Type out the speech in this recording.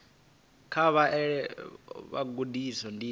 kha vha vhalele vhagudiswa ndivho